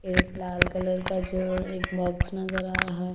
फिर एक लाल कलर का जो एक बॉक्स नजर आ रहा है।